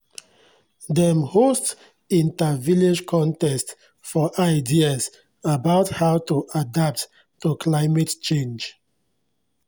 dem host inter-village contest for ideas about how to adapt to climate change